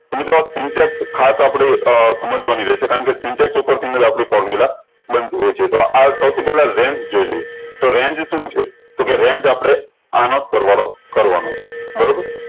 તો મિત્રો ખાસ આપળે અ સમજવાની રેહશે કારણ કે syntax ઉપર થી ને આપળી ofrmula બનતી હોય છે તો આ સૌ પેહલા range જોઈ લિયે તો range શું છે તો કેહ range આપળે આનોજ સરવાળો કરવાનો છે બરોબર